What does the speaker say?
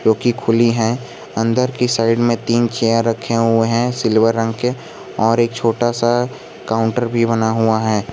कि खुली है अंदर की साइड में तीन रखे हुए हैं सिल्वर रंग के और एक छोटा सा काउंटर भी बना हुआ है।